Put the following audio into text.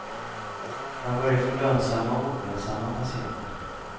Man börjar få lönsamma och olönsamma patienter.